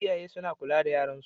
Iyaye suna kula da yaran su